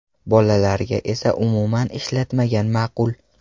Bolalarga esa umuman ishlatmagan ma’qul.